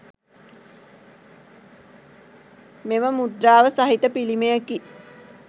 මෙම මුද්‍රාව සහිත පිළිමයකි